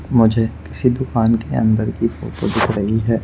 मुझे किसी दुकान के अंदर की फोटो दिख रही है।